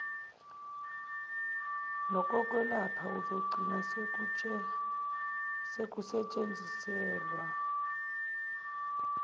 nokokwelapha okuzogcina sekusetshenziselwa